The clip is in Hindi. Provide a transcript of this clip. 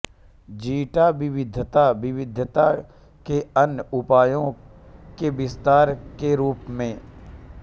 जीटा विविधता विविधता के अन्य उपायों के विस्तार के रूप में